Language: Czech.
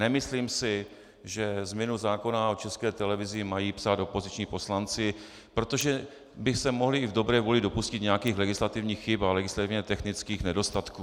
Nemyslím si, že změnu zákona o České televizi mají psát opoziční poslanci, protože by se mohli i v dobré vůli dopustit nějakých legislativních chyb a legislativně technických nedostatků.